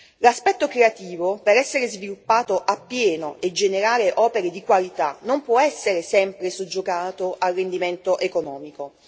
L'aspetto creativo, per essere sviluppato appieno e generare opere di qualità, non può essere sempre soggiogato al rendimento economico.